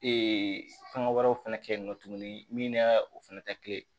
fɛngɛ wɛrɛw fɛnɛ kɛ yen nɔ tuguni min n'a o fɛnɛ tɛ kelen ye